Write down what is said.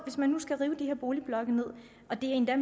hvis man skal rive de her boligblokke ned og endda